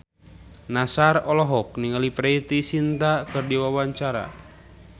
Nassar olohok ningali Preity Zinta keur diwawancara